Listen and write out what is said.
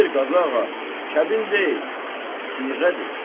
Xeyr, Qazıağa, kəbin deyil, siğədir.